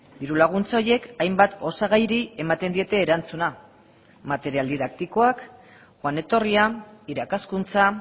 diru laguntza horiek hainbat osagairi ematen diete erantzuna material didaktikoak joan etorria irakaskuntza